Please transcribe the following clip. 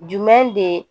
Jumɛn de